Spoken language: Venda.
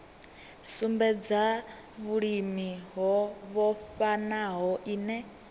sumbedza vhulimi ho vhofhanaho ine